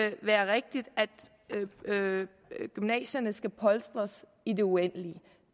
ikke være rigtigt at gymnasierne skal polstres i det uendelige